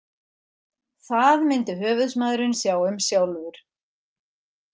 Það myndi höfuðsmaðurinn sjá um sjálfur.